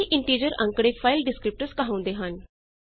ਇਹ ਇੰਟੀਜਰ ਅੰਕੜੇ file descriptors ਕਹਾਉਂਦੇ ਹਨ